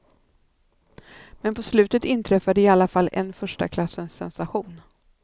Men på slutet inträffade i alla fall en första klassens sensation.